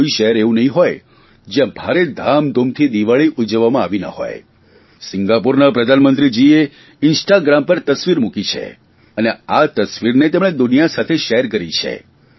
માં તો કોઇ શહેર એવું નહીં હોય જયાં ભારે ધામધૂમથી દિવાળી ઉજવવામાં આવી ના હોય સિંગાપુરના પ્રધામંત્રીજીએ ઇન્સ્ટાગ્રામ પર તસવીર મૂકી છે અને આ તસવીરને તેમણે દુનિયા સાથે શેર કરી છે